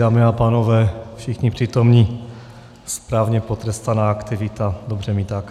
Dámy a pánové, všichni přítomní, správně potrestaná aktivita, dobře mi tak.